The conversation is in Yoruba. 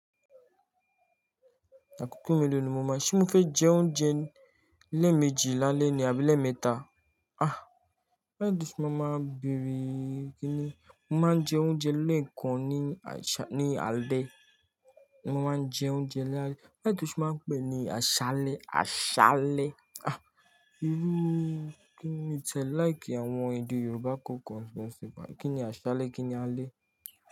Àkókò mélòó ni mo mọ̀, ṣé mo fẹ́ jẹ oúnjẹ lẹ́ẹ̀mejì lálẹ́ ni àbí lẹ́ẹ̀mẹta? Ah, bẹ́ẹ̀ lẹ ṣe máa máa béèrè kíni, mo máa ń jẹ oúnjẹ lẹ́ẹ̀kan ní àṣá, ní alẹ́, mo máa ń jẹ oúnjẹ lálẹ́. Bẹ́ẹ̀ ni túnṣe máa ń pè ní aṣálẹ́, aṣálẹ́. Ah, irú kiní tí ẹ like àwọn èdè Yorùbá kò kọọkan bayii kíni aṣálẹ́, kíni alẹ́?